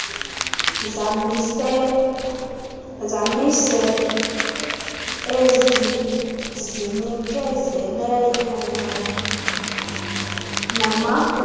zamasebe ezizinikezeleyo namagosa